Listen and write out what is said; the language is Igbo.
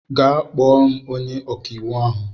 Gaa kpọọ m onye ọka iwu ahụ.